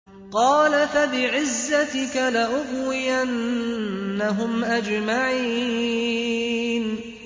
قَالَ فَبِعِزَّتِكَ لَأُغْوِيَنَّهُمْ أَجْمَعِينَ